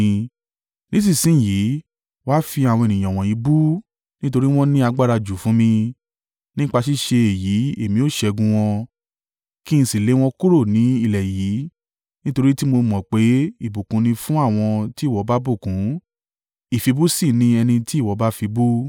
Nísinsin yìí, wá fi àwọn ènìyàn wọ̀nyí bú, nítorí wọ́n ní agbára jù fún mi. Nípa ṣíṣe èyí èmi ó ṣẹ́gun wọn, kí n sì lé wọn kúrò ní ilẹ̀ yìí. Nítorí tí mo mọ̀ pé ìbùkún ni fún àwọn tí ìwọ bá bùkún, ìfibú sì ni ẹni tí ìwọ bá fi bú.”